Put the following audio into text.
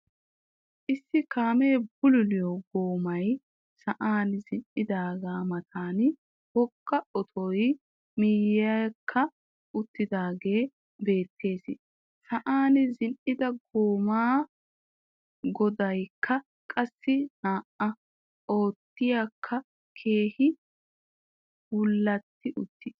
Issi kaamee bululiyoo goomay sa'an zin"aagaa matan wogga otoy miyekki uttagee beettees. Sa'an zin"a goomaa goodaykka qassi naa"a. Otoykka keehippe bullatti uttiis.